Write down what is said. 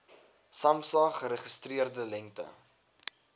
samsa geregistreerde lengte